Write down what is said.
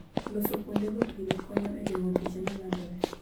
Loso kuondego pile konyo e geng'o tuoche ma landore.